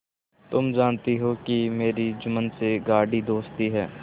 तुम जानती हो कि मेरी जुम्मन से गाढ़ी दोस्ती है